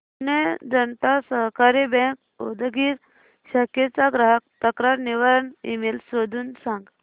पुणे जनता सहकारी बँक उदगीर शाखेचा ग्राहक तक्रार निवारण ईमेल शोधून सांग